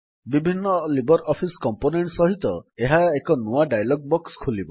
ବିଭିନ୍ନ LibreOffice component ସହିତ ଏକ ନୂଆ ଡାୟଲଗ୍ ବକ୍ସ ଖୋଲିବ